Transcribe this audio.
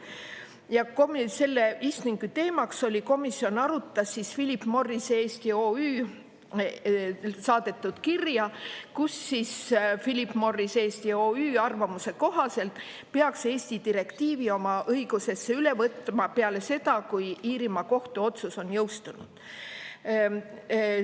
Ja selle istungi teemaks oli komisjon, arutas Philip Morris Eesti OÜ saadetud kirja, kus Philip Morris Eesti OÜ arvamuse kohaselt peaks Eesti direktiivi oma õigusesse üle võtma peale seda, kui Iirimaa kohtu otsus on jõustunud.